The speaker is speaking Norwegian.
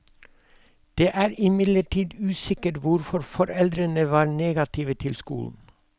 Det er imidlertid usikkert hvorfor foreldrene var negative til skolen.